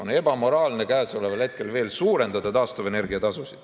On ebamoraalne käesoleval hetkel veel suurendada taastuvenergia tasu.